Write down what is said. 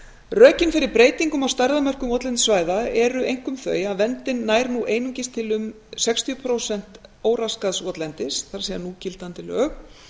rökin fyrir breytingum á stærðarmörkum votlendissvæða eru einkum þau að verndin nær nú einungis til um sextíu prósent óraskaðs votlendis það er núgildandi lög